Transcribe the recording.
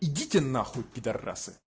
идите нахуй пидарасы